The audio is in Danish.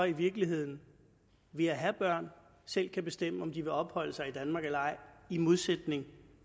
i virkeligheden ved at have børn selv kan bestemme om de vil opholde sig i danmark eller ej i modstrid med